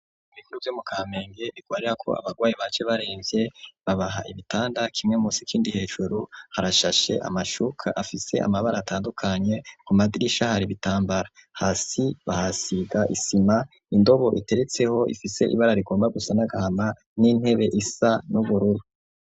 ibitaro vye mu kamenge bigwarirako abagwayi baje baremvye babaha ibitanda kimwe musi ikindi hejuru harashashe amashuka afise amabara atandukanye ku madirisha hari ibitambara hasi bahasiga isima, indobo iteretseho ifise ibara rigomba gusa nagahama n'intebe isa n'ubururu.